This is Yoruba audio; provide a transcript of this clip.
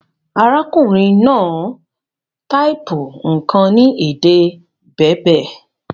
Arákùnrin náà type nkàn ni èdè Berber